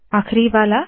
आखरी वाला